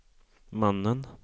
mannen